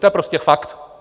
To je prostě fakt.